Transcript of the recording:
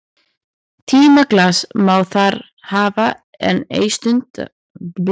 Tímaglas má þar hafa en ei stundaklukku né sigurverk því svoddan er þar ekki liðið.